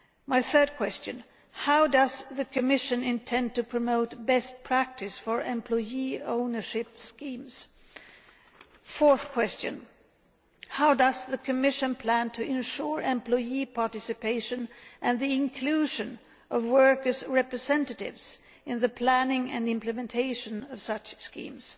My third question how does the Commission intend to promote best practice for employee ownership schemes? Fourth question how does the Commission plan to ensure employee participation and the inclusion of workers' representatives in the planning and implementation of such schemes?